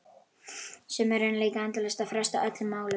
Sumir reyna líka endalaust að fresta öllum málum.